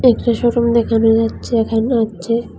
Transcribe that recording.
একটি showroom দেখানো যাচ্ছে এখানে হচ্চে ।